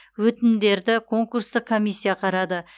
өтінімдерді конкурстық комиссия қарады